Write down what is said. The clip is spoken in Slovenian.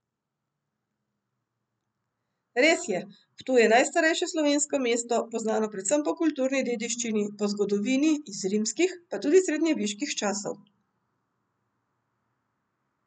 Res je, Ptuj je najstarejše slovensko mesto, poznano predvsem po kulturni dediščini, po zgodovini, iz rimskih, pa tudi srednjeveških časov.